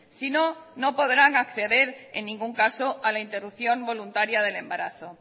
sino no podrán acceder en ningún caso a la interrupción voluntaria del embarazo